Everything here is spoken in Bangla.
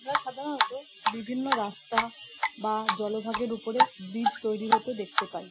আমরা সাধারণত বিভিন্ন রাস্তা বা জলভাগের ওপরে ব্রিজ তৈরি হতে দেখতে পাই।